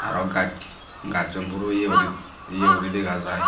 aro gaj gajuno puro ye guri ye guri degajai.